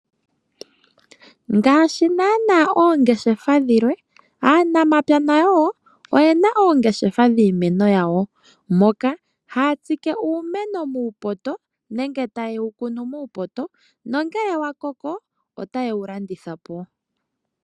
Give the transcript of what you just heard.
Ngaashi naanaa aanangeshefa yalwe aanamapya nayo wo oye na oongeshefa dhiimeno yawo, moka haya tsike uumeno muupoto nenge taye wu kunu muupoto nongele wa koko otaye wu landitha po.